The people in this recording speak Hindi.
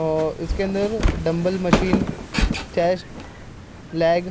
और इसके अंदर डम्बल मशीन चेस्ट लैग --